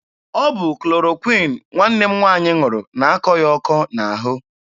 Ọ bụ klorokwịn nwanne m nwaanyị ṅụrụ na-akọ ya ọkọ n'ahụ.